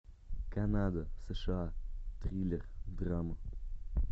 канада сша триллер драма